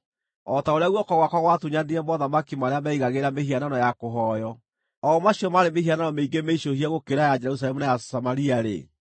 O ta ũrĩa guoko gwakwa gwatunyanire mothamaki marĩa meigagĩra mĩhianano ya kũhooywo, o macio maarĩ mĩhianano mĩingĩ mĩicũhie gũkĩra ya Jerusalemu na ya Samaria-rĩ,